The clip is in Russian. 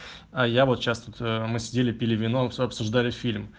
а я вот сейчас вот мы сидели пили вино все обсуждали фильм